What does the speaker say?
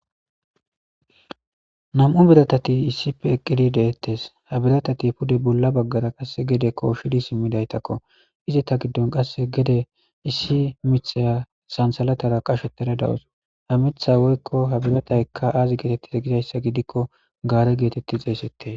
namu'u biratta mishati issipe eqidi detesi ha biratati pude bolla baggara guy simidayitakko izata giddoni gede issi mithiya sanithalatara qashetada deyawusi ha mithayi woyikko biratayi azi gettetide gikko gare grtrti xesetesi.